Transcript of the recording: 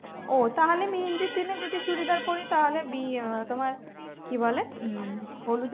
ও তাহলে মেহেন্দির দিনে যদি চুড়িদার পরি তাহলে বিয়ে তোমার কি বলে হলুদে